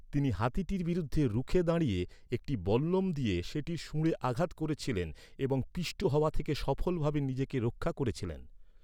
তিনি হাতিটির বিরুদ্ধে রুখে দাঁড়িয়ে একটি বল্লম দিয়ে সেটির শুঁড়ে আঘাত করেছিলেন এবং পিষ্ট হওয়া থেকে সফলভাবে নিজেকে রক্ষা করেছিলেন।